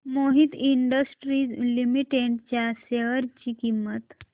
Mohit Industries Limited च्या share ची किंमत